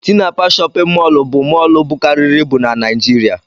Tinapa shóppin mol bụ mol bụkarịrị ịbụ n'naijiria.